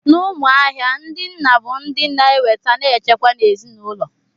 N'Umuahia, ndị nna bụ ndị na-eweta na nchekwa n'ezinaụlọ.